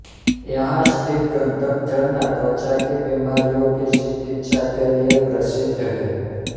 यहाँ स्थित गंधक झरना त्वचा की बीमारियों की चिकित्सा के लिए प्रसिद्ध है